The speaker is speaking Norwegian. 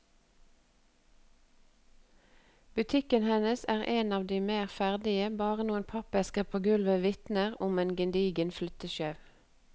Butikken hennes er en av de mer ferdige, bare noen pappesker på gulvet vitner om en gedigen flyttesjau.